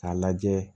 K'a lajɛ